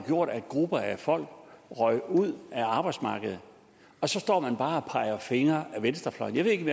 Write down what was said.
jo at grupper af folk røg ud af arbejdsmarkedet og så står man bare og peger fingre ad venstrefløjen jeg ved ikke